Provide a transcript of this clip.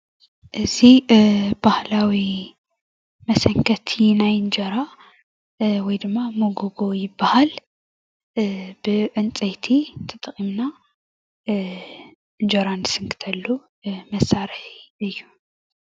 እዚ እ ባህላዊ መሰንከቲ ናይ እንጀራ እ ወይ ድማ መጎጎ ይበሃል እ ብዕንጨይቲ ተጠቒማና እ እንጀራ ንስንክተሉ መሳርሒ እዩ።